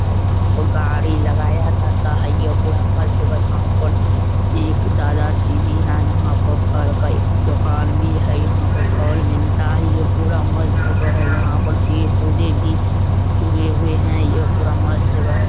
है। यहाँ पर गाड़ी लगाया जाता है। यह पूरा मस्त जगह है। यहाँ पर एक दादा जी भी हैं। यहाँ पर फल का एक दुकान भी है। यहाँ पर फल मिलता है। यह पूरा मस्त जगह है। यहाँ पर पेड़-पोधे भी उगे हुए हैं। ये पूरा मस्त जगह है।